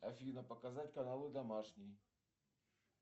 афина показать каналы домашний